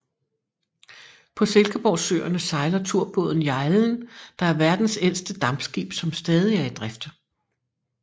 På Silkeborgsøerne sejler turbåden Hjejlen der er verdens ældste dampskib som stadig er i drift